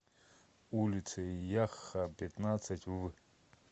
улицей яхха пятнадцать в